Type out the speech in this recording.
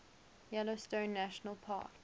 yellowstone national park